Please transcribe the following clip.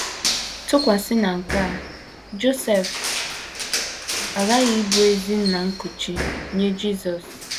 Tụkwasị na nke a, Josef aghaghị ịbụwo ezi nna nkuchi nye Jisọs.